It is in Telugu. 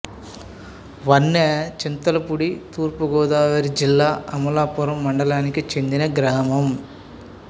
వన్నె చింతలపూడి తూర్పు గోదావరి జిల్లా అమలాపురం మండలానికి చెందిన గ్రామం